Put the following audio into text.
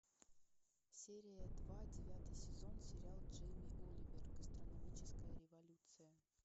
серия два девятый сезон сериал джейми оливер гастрономическая революция